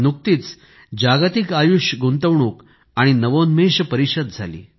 नुकतीच जागतिक आयुष गुंतवणूक आणि नवोन्मेष परिषद झाली